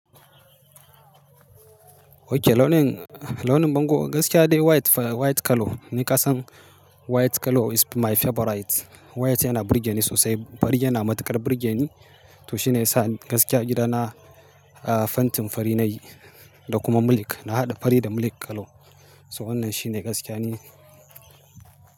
Ok, launin, launin bango gaskiya dai white fa white colour ni kasan white colour is my favourite. White yana burge ni sosai. Fari yana matuƙar burge ni to shi ne yasa gaskiya gidana, ah fentin fari na yi da kuma milk. Na haɗa fari da milk colour. So wannan shi ne gaskiya ni.